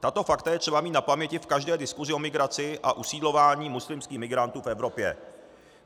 Tato fakta je třeba mít na paměti v každé diskusi o migraci a usídlování muslimských migrantů v Evropě.